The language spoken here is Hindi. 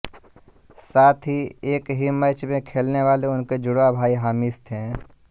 साथ ही एक ही मैच में खेलने वाले उनके जुड़वां भाई हामिश थे